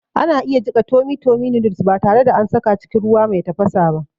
Ana iya jiƙa tummy tummy noddles ba tare da an saka cikin ruwa mai tafasa ba